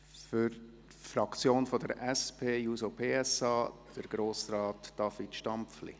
Für die Fraktion der SP-JUSO-PSA spricht Grossrat Stampfli.